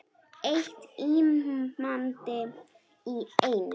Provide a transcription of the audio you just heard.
Eitt límband í einu.